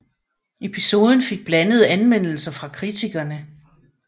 Episoden fik blandede anmeldelser fra kritikerne